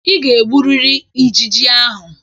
Ị ga-egburiri ijiji ahụ.